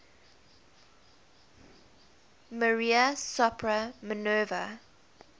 maria sopra minerva